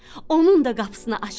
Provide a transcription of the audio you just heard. Onun da qapısını açdı.